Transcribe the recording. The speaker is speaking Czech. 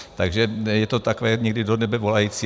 Takže je to takové někdy do nebe volající.